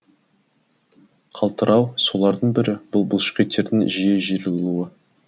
қалтырау солардың бірі бұл бұлшықеттердің жиі жиырылуы